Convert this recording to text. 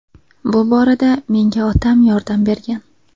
Bu borada menga otam yordam bergan.